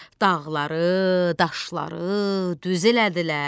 Dağları, daşları düz elədilər.